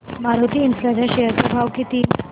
Maruti Infra च्या share चा भाव किती